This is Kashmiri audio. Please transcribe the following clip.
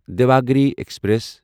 دیواگِری ایکسپریس